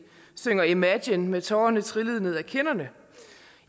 synger imagine med tårerne trillende ned ad kinderne